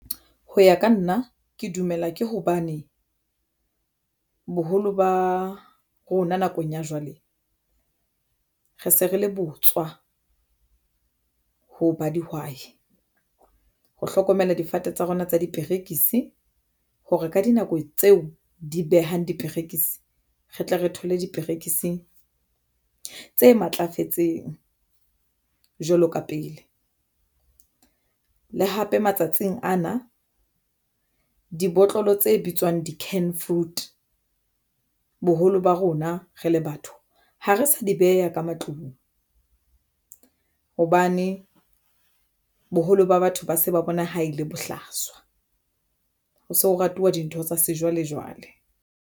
Ho ya ka nna ke dumela ke hobane boholo ba rona nakong ya jwale re se re le botswa ho ba dihwai ho hlokomela difate tsa rona tsa diperekisi hore ka dinako tseo di behang diperekisi re tle re thole diperekisi tse matlafetseng jwalo ka pele, le hape matsatsing ana dibotlolo tse bitswang di-can food. Boholo ba rona rele batho ha re sa di beha ka matlung hobane boholo ba batho ba se ba bona ha e le bohlaswa ho so ratuwa dintho tsa sejwalejwale.